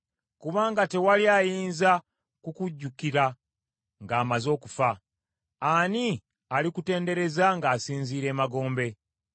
Kubanga tewali ayinza kukujjukira ng’amaze okufa. Ani alikutendereza ng’asinziira emagombe?